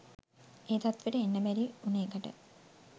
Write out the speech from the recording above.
ඒ තත්ත්වෙට එන්න බැරි උන එකට